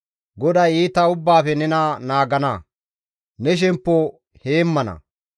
GODAY iita ubbaafe nena naagana; ne shemppo heemmana.